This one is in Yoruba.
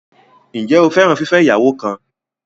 Ǹjẹ́ o fẹ́ràn fífẹ́ ìyàwó kan?